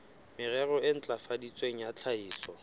merero e ntlafaditsweng ya tlhahiso